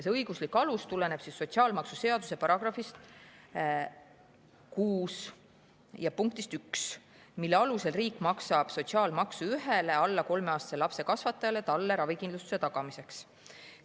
See õiguslik alus tuleneb sotsiaalmaksuseaduse § 6 punktist 1, mille alusel riik maksab sotsiaalmaksu ühele alla kolmeaastase lapse kasvatajale talle ravikindlustuse tagamiseks.